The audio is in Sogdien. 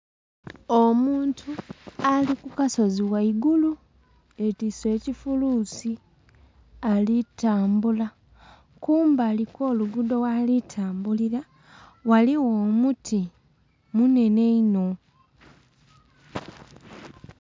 Omuntu ali ku akasozi ghaigulu ye twise ekifulusi alitambula kumbali gho lugudho ghali tambulila ghaligho omuti munene inho.